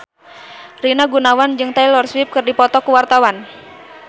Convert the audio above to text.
Rina Gunawan jeung Taylor Swift keur dipoto ku wartawan